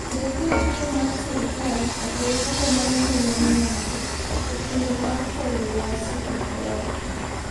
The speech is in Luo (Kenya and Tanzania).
Bed gi ofuko mar sirkal kata ofuko ma nengone ni malo e kinde ma kor lwasi ok ber.